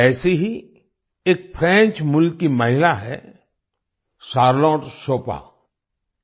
ऐसे ही एक फ्रेंच मूल की महिला हैं चार्लोट शोपा शारलोट शोपा